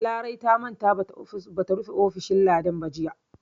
Larai ta manta ba ta rufe ofishin Ladan ba jiya.